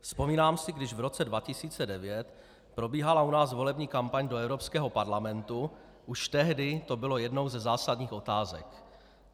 Vzpomínám si, když v roce 2009 probíhala u nás volební kampaň do Evropského parlamentu, už tehdy to byla jedna ze zásadních otázek.